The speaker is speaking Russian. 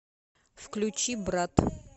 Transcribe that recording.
включи брат